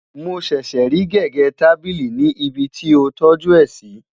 mọ ṣẹṣẹ rí gégé tábìlì ní ibì tí o toju é si